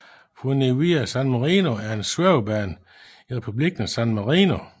Funivia San Marino er en svævebane i republiken San Marino